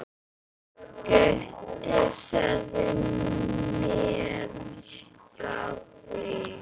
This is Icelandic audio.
Gutti sagði mér frá því.